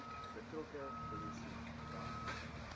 betrokke polisie brandweer